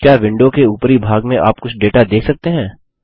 क्या विंडो के उपरी भाग में आप कुछ डेटा देख सकते हैं